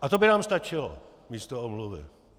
A to by nám stačilo místo omluvy.